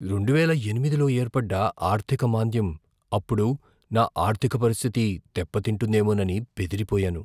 రెండువేల ఎనిమిదిలో ఏర్పడ్డ ఆర్థిక మాంద్యం అప్పుడు నా ఆర్థిక పరిస్థితి దెబ్బతింటుందేమోనని బెదిరిపోయాను.